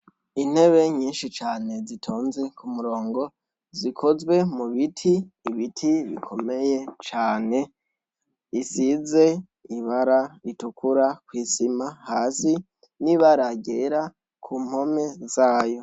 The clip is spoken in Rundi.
Intebe nyinshi cane zitonze kumurongo zikozwe mu biti ibiti bikomeye cane isize ibara ritukura kwisima hasi n' ibara ryera kumpome zayo.